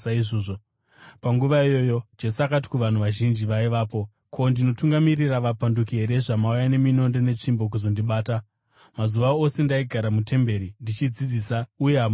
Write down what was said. Panguva iyoyo Jesu akati kuvanhu vazhinji vaivapo, “Ko, ndinotungamirira vapanduki here zvamauya neminondo netsvimbo kuzondibata? Mazuva ose ndaigara mutemberi ndichidzidzisa uye hamuna kundisunga.